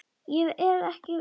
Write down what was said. Ég er ekki munkur.